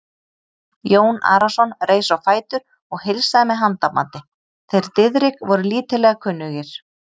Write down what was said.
Jón Arason reis á fætur og heilsaði með handabandi, þeir Diðrik voru lítillega kunnugir.